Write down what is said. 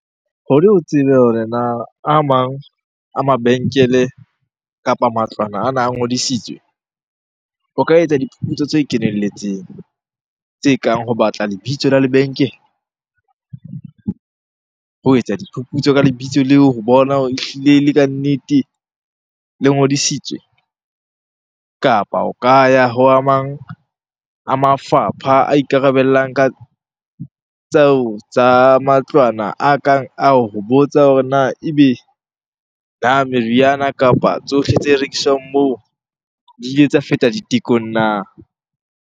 Hore o tsebe hore na a mang a mabenkele kapa matlwana ana a ngodisitswe, o ka etsa diphuputso tse kenelletseng. Tse kang ho batla lebitso la lebenkele, ho etsa diphuputso ka lebitso leo ho bona hore ehlile le kannete le ngodisitswe. Kapa o ka ya ho a mang a mafapha a ikarabellang ka tseo tsa matlwana a kang ao. Ho botsa hore na ebe na meriana kapa tsohle tse rekiswang moo di ile tsa feta ditekong na?